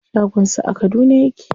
Shagon sa a Kaduna yake.